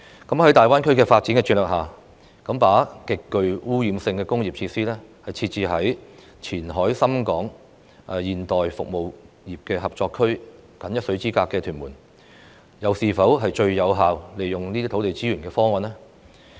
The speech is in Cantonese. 在大灣區的發展策略下，把極具污染性的工業設施設置在與"前海深港現代服務業合作區"僅一水之隔的屯門，是否最有效利用土地資源的方案呢？